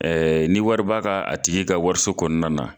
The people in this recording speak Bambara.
Ɛɛ ni wari b'a ka ,a tigi ka wariso kɔnɔna na